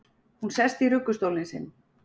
Hún sest í ruggustólinn sinn.